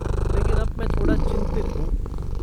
लेकिन अब मैं थोड़ा चिंतित हूँ।